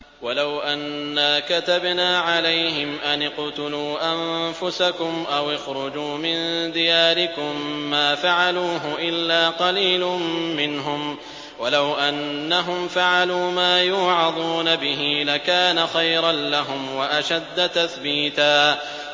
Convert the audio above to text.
وَلَوْ أَنَّا كَتَبْنَا عَلَيْهِمْ أَنِ اقْتُلُوا أَنفُسَكُمْ أَوِ اخْرُجُوا مِن دِيَارِكُم مَّا فَعَلُوهُ إِلَّا قَلِيلٌ مِّنْهُمْ ۖ وَلَوْ أَنَّهُمْ فَعَلُوا مَا يُوعَظُونَ بِهِ لَكَانَ خَيْرًا لَّهُمْ وَأَشَدَّ تَثْبِيتًا